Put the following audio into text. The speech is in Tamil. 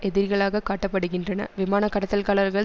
எதிரிகளாக காட்டப்படுகின்றனர் விமான கடத்தல்காளர்கள்